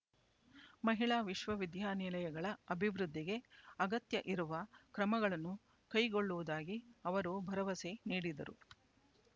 ಮಹಿಳಾ ವಿಶ್ವವಿದ್ಯಾನಿಲಯಗಳ ಅಭಿವೃದ್ಧಿಗೆ ಅಗತ್ಯ ಇರುವ ಕ್ರಮಗಳನ್ನು ಕೈಗೊಳ್ಳುವುದಾಗಿ ಅವರು ಭರವಸೆ ನೀಡಿದರು